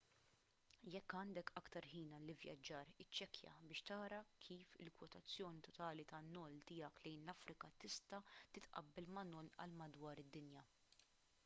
jekk għandek aktar ħin għall-ivvjaġġar iċċekkja biex tara kif il-kwotazzjoni totali tan-noll tiegħek lejn l-afrika tista' titqabbel ma' noll għal madwar id-dinja